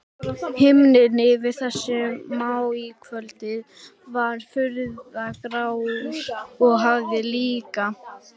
Himinninn yfir þessu maíkvöldi var furðu grár og hafið líka.